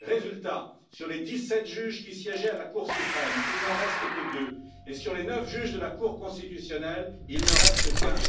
Résultat sur les dix sept juges qui siégeaient à la Cour suprême, il n'en reste que deux et sur les neuf juges de la Cour constitutionnelle, il n'en reste qu'un.